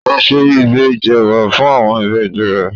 Kò se ìbejì ẹ̀wà fún àwọn ìbejì rẹ̀?